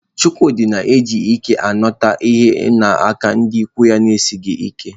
Chukwudi ji ike nakọta ihe n'aka ndị ikwu na-esighị ike